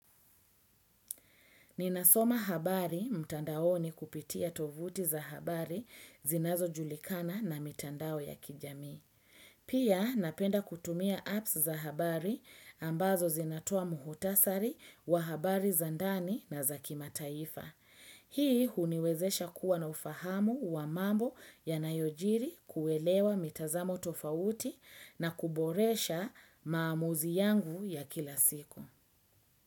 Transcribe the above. Ninasoma habari mtandaoni kupitia tovuti za habari zinazojulikana na mitandao ya kijamii. Pia napenda kutumia apps za habari ambazo zinatoa muhutasari wa habari za ndani na za kimataifa. Hii huniwezesha kuwa na ufahamu wa mambo yanayojiri kuelewa mitazamo tofauti na kuboresha maamuzi yangu ya kila siku.